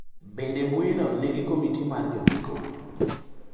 Bende mbuino nigi komiti mar jondiko?